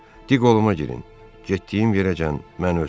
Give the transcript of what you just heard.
Di qoluma girin, getdiyim yerəcən məni ötürün.